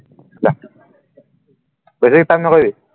যা বেছি নকৰিবি